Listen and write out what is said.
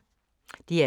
DR2